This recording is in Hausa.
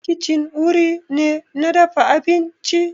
Kicin wuri ne na dafa abinci